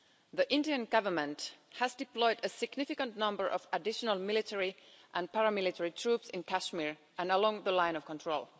The Indian Government has deployed a significant number of additional military and paramilitary troops in Kashmir and along the Line of Control.